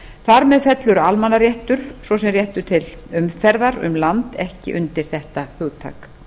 þar með fellur almannaréttur svo sem réttur til umferðar um land ekki undir þetta hugtak